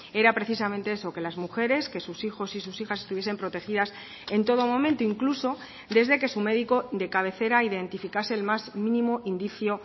era precisamente eso que las mujeres que sus hijos y sus hijas estuviesen protegidas en todo momento incluso desde que su médico de cabecera identificase el más mínimo indicio